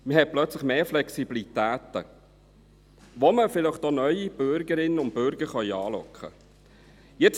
Man hätte plötzlich mehr Flexibilität, wodurch man vielleicht auch neue Bürgerinnen und Bürger anlocken könnte.